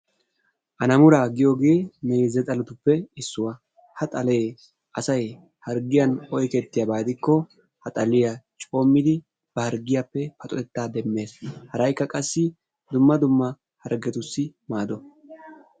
alamuuraa giyoogee meeze xaaletuppe issuwaa. ha xalee asay harggiyaan oyqetiyaaba gidikko ha xaaliyaa coommidi ba harggiyaappe paxottettaa demmees. haraykka qassi dumma dumma harggetussi maado.